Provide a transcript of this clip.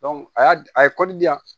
a y'a a ye di yan